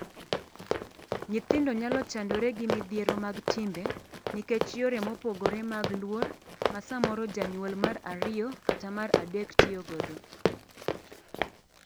Nyithindo nyalo chandore gi midhiero mag timbe nikech yore mopogore mag luor ma samoro janyuol mar ariyo kata mar adek tiyo godo.